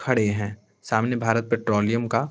खड़े हैं सामने भारत पेट्रोलियम का--